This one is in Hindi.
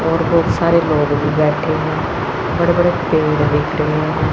और बहुत सारे लोग भी बैठे हैं बड़े बड़े पेड़ दिख रहे हैं।